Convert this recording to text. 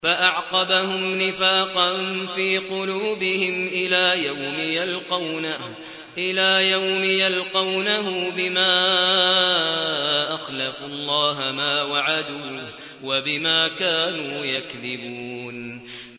فَأَعْقَبَهُمْ نِفَاقًا فِي قُلُوبِهِمْ إِلَىٰ يَوْمِ يَلْقَوْنَهُ بِمَا أَخْلَفُوا اللَّهَ مَا وَعَدُوهُ وَبِمَا كَانُوا يَكْذِبُونَ